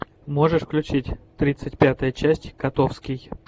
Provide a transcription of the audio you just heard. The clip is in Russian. можешь включить тридцать пятая часть котовский